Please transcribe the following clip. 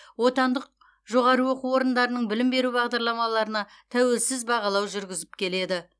отандық жоғары оқу орындарының білім беру бағдарламаларына тәуелсіз бағалау жүргізіп келеді